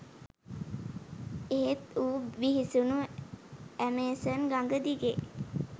එහෙත් ඌ බිහිසුණු ඇමේසන් ගඟ දිගේ